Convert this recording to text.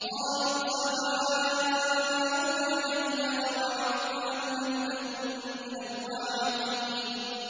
قَالُوا سَوَاءٌ عَلَيْنَا أَوَعَظْتَ أَمْ لَمْ تَكُن مِّنَ الْوَاعِظِينَ